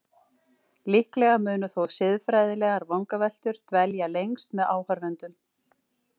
Líklega munu þó siðfræðilegar vangaveltur dvelja lengst með áhorfendum.